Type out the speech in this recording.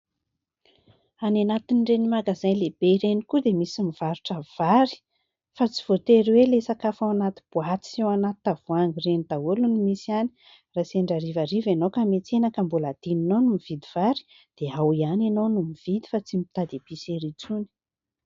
Any anatin'ireny magazay lehibe ireny koa dia misy mivarotra vary fa tsy voatery hoe ilay sakafo ao anaty boaty sy ao anaty tavoahangy ireny daholo no misy any. Raha sendra harivariva ianao ka miantsena ka mbola adinonao ny nividy vary dia ao ihany ianao no mividy fa tsy mitady "épicerie" intsony.